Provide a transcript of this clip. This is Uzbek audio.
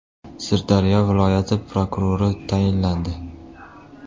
Sirdaryo viloyati prokurori tayinlandi.